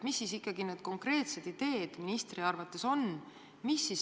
Mis siis ikkagi need konkreetsed ideed ministri arvates on?